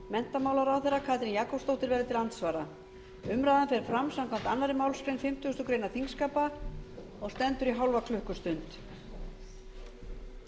menntamálaráðherra katrín jakobsdóttir verður til andsvara umræðan fer fram samkvæmt annarri málsgrein fimmtugustu grein þingskapa og stendur í hálfa klukkustund